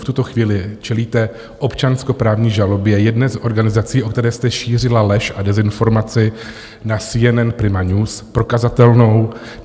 V tuto chvíli čelíte občanskoprávní žalobě jedné z organizací, o které jste šířila lež a dezinformaci na CNN Prima News, prokazatelnou.